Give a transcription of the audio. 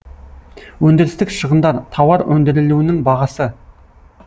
өндірістік шығындар тауар өндірілуінің бағасы